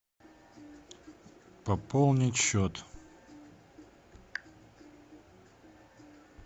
пополнить счет